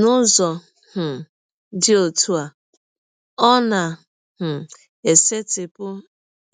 N’ụzọ um dị ọtụ a, ọ na um - esetịpụ